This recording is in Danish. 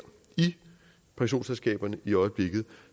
i pensionsselskaberne i øjeblikket